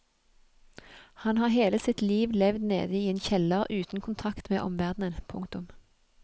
Han har hele sitt liv levd nede i en kjeller uten kontakt med omverdenen. punktum